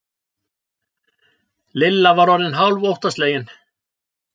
Lilla var orðin hálf óttaslegin.